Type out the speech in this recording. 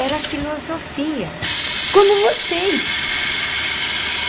Era filosofia, como vocês.